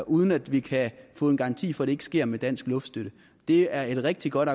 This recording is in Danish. uden at vi kan få en garanti for at det ikke sker med dansk luftstøtte det er et rigtig godt